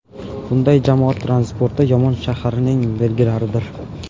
Bunday jamoat transporti yomon shaharning belgilaridir.